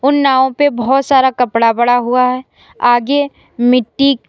उन नाव पे बहोत सारा कपड़ा पड़ा हुआ है आगे मिट्टी--